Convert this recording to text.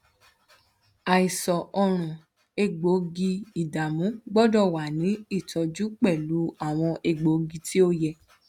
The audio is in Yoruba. àìsàn ọrùn egboogiidamu gbọ́dọ̀ wà ní ìtọ́jú pẹ̀lú àwọn egbòogi tí ó yẹ